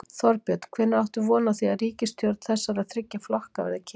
Þorbjörn: Hvenær áttu von á því að ríkisstjórn þessara þriggja flokka verði kynnt?